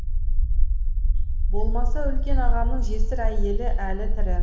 болмаса үлкен ағамның жесір әйелі әлі тірі